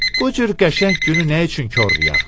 Bu cür qəşəng günü nə üçün korlayaq?